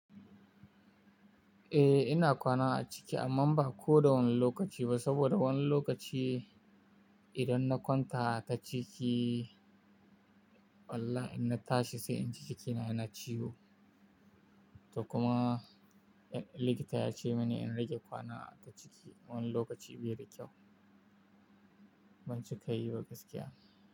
Eh, ina kwana a ciki amma ba ko da wani lokaci ba saboda wani lokaci idan na kwanta a cikin wallah in na tashi sai in ji cikina yana ciwo. To kuma likita ya ce mini in rage kwana a ciki wani lokaci biyu da kyau ban cika yi ba gaskiya.